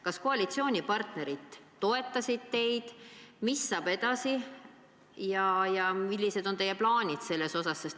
Kas koalitsioonipartnerid toetasid teid, mis saab edasi ja millised on teie plaanid selles asjas?